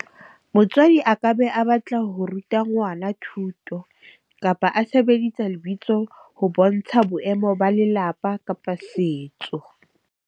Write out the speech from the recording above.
Motswadi a ka be a batla ho ruta ngwana thuto, kapa a sebedisa lebitso ho bontsha boemo ba lelapa, kapa setso.